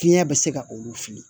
Fiɲɛ bɛ se ka olu fili